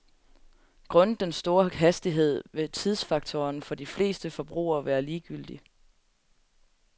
Grundet den store hastighed vil tidsfaktoren for de fleste forbrugere være ligegyldig.